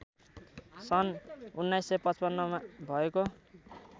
सन् १९५५ मा भएको